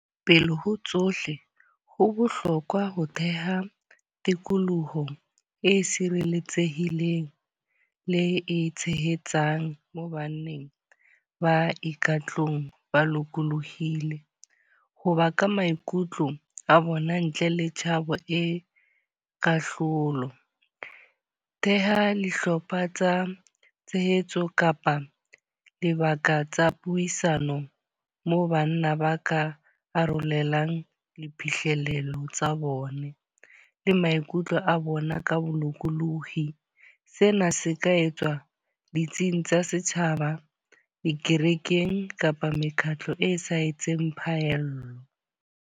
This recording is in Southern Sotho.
Pele ho tsohle, ho bohlokwa ho theha tikoloho e sireletsehileng le e tshehetsang mo baneng ba ikutlwang ba lokolohile. Ho bua ka maikutlo a bona ntle le tshabo e kahlolo. Theha dihlopha tsa tshehetso kapa dibaka tsa puisano moo banna ba ka arolelang diphihlello tsa bone le maikutlo a bona ka bolokolohi. Sena se ka etswa ditsing tsa setjhaba, dikerekeng kapa mekgatlo e sa etseng phaello.